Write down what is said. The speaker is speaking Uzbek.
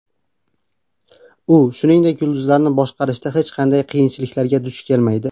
U, shuningdek, yulduzlarni boshqarishda hech qanday qiyinchiliklarga duch kelmaydi.